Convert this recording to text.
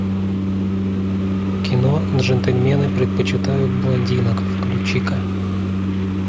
кино джентльмены предпочитают блондинок включи ка